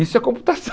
Isso é